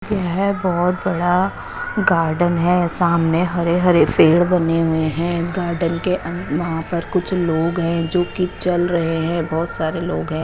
येह बोहोत बड़ा गार्डन है सामने हरे हरे पेड़ बने हुए है गार्डन के अन वहा पर कुछ लोग है जो की चल रहे है बोहोत सारे लोग है।